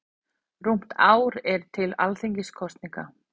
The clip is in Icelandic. Rúmt ár er til Alþingiskosninga.